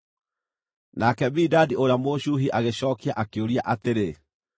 Nake Bilidadi ũrĩa Mũshuhi agĩcookia, akĩũria atĩrĩ: